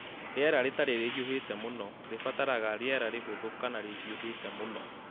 Rĩera rĩtarĩ rĩhiũhĩte mũno - rĩbataraga rĩera rĩhũthũ kana rĩhiũhĩte mũno